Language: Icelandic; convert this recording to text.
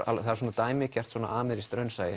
svona dæmigert amerískt raunsæi